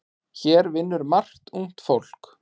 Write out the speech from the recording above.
Hér vinnur margt ungt fólk.